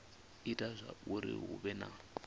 ita zwauri hu vhe na